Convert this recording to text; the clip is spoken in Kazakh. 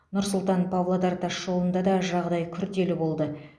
нұр сұлтан павлодар тасжолында да жағдай күрделі болды